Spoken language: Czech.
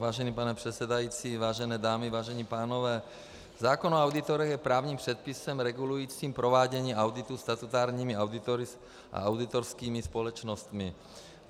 Vážený pane předsedající, vážené dámy, vážení pánové, zákon o auditorech je právním předpisem regulujícím provádění auditu statutárními auditory a auditorskými společnostmi.